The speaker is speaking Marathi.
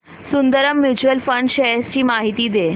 सुंदरम म्यूचुअल फंड शेअर्स ची माहिती दे